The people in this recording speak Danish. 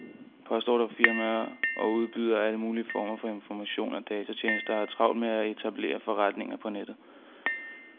Postordrefirmaer og udbydere af alle mulige former for informationer og datatjenester har travlt med at etablere forretninger på nettet.